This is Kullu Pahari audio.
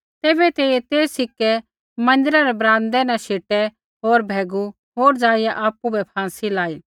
तैबै तेइयै ते सिक्कै मन्दिरा रै ब्राम्दै न शेटै होर भैगू होर ज़ाइआ आपु बै फाँसी लाई